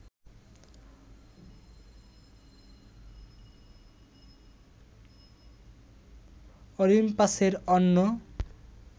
অলিম্পাসের অন্য